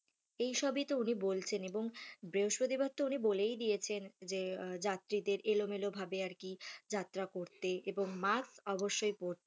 এই সবই তো উনি বলছেন এবং বৃহস্পতিবার তো উনি বলেই দিয়েছেন যে যাত্রীদের এলোমেলো ভাবে আরকি যাত্রা করতে এবং mask অবশ্যই পরতে,